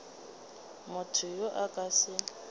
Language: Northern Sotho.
motho yo a ka se